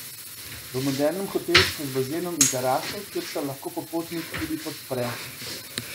V modernem hotelčku z bazenom in teraso, kjer se lahko popotnik tudi podpre.